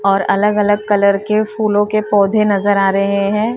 और अलग अलग कलर के फूलों के पौधे नजर आ रहे हैं।